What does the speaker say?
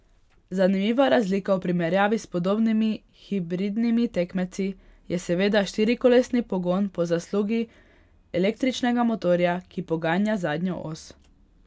Zanimiva razlika v primerjavi s podobnimi hibridnimi tekmeci je seveda štirikolesni pogon po zaslugi električnega motorja, ki poganja zadnjo os.